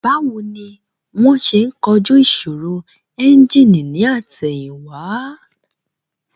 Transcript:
Báwo ni wón ṣe ń kojú ìṣòro ẹ́ńjìnì ní àtẹ̀yìn wá